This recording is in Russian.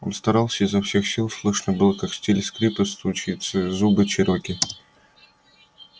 он старался изо всех сил слышно было как сталь скрипит о зубы чероки